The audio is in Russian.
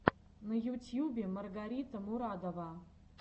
на ютьюбе маргарита мурадова